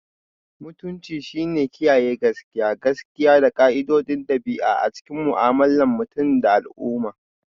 Mutunci shine kiyaye gaskiya, gaskiya, da ƙa'idodin ɗabi'a a cikin mu'amalar mutum da al'umma.